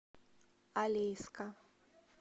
алейска